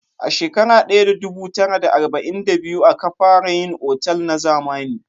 A shekara daya da dubu tara da arba'in da biyu a ka fara yin otal na zamani